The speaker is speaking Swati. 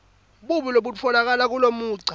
buni lobutfolakala kulomugca